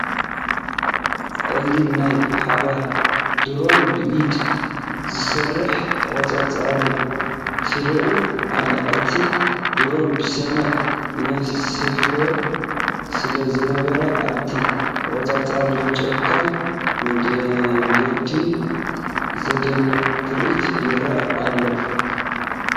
ጸሊም ናይ ሓባር ድሮን ብኢድ ዝእሰር ተቖጻጻርን ትረአ ኣላ። እቲ ድሮን ብሰማይ ይንሳፈፍ ስለ ዝነበረ፡ ኣብቲ ተቖጻጻሪ ንጫካን መንገድን ዘደንቕ ትርኢት ይርአ ነይሩ።